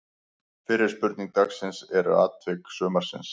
Fyrri spurning dagsins er: Atvik sumarsins?